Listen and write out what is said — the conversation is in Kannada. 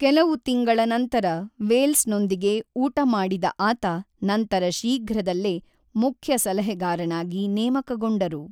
ಕೆಲವು ತಿಂಗಳ ನಂತರ ವೇಲ್ಸ್‌ನೊಂದಿಗೆ ಊಟ ಮಾಡಿದ ಆತ ನಂತರ ಶೀಘ್ರದಲ್ಲೇ ಮುಖ್ಯ ಸಲಹೆಗಾರನಾಗಿ ನೇಮಕಗೊಂಡರು.